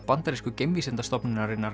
bandarísku geimvísindastofnunarinnar